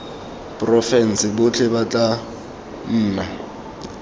porofense botlhe ba na le